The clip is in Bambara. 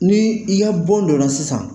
Ni i ya bɔn dɔ a la sisan